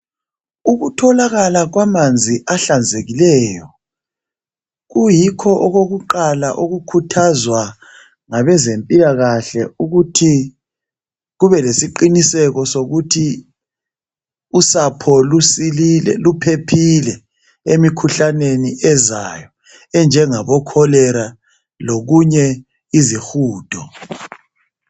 Ukutholakala kwamanzi ahlanzekileyo kuyikho okokuqala ukukhuthazwa ngabezempilakahle ukuthi kube lesiqiniseko sokuthi usapho luphephile emikhuhlaneni ezayo efana leKholera lesihudo.